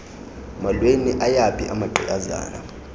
mholweni ayaphi amagqiyazane